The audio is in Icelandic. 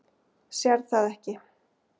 Sérð það ekki.